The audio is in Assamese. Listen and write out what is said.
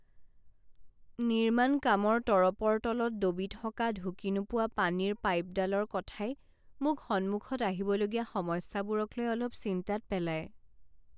নিৰ্মাণ কামৰ তৰপৰ তলত দবি থকা ঢুকি নোপোৱা পানীৰ পাইপডালৰ কথাই মোক সন্মুখত আহিবলগীয়া সমস্যাবোৰকলৈ অলপ চিন্তাত পেলায়।